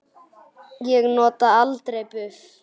Ég nota aldrei buff.